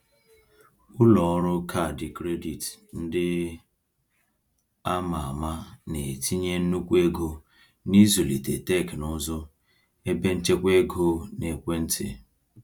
Ụlọọrụ kaadị kredit ndị a ma ama na-etinye nnukwu ego n’ịzụlite teknụzụ ebenchekwaego n’ekwentị.